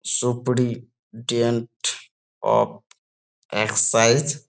সুপ্রি tent of excise.